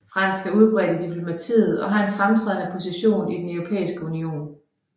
Fransk er udbredt i diplomatiet og har en fremtrædende position i den Europæiske Union